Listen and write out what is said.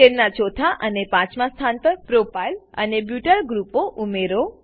ચેનના ચોથા અને પાંચમાં સ્થાન પર પ્રોપાઇલ અને બ્યુટાઇલ ગ્રુપઓ ઉમેરો